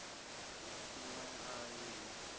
ṅ we na i ṅ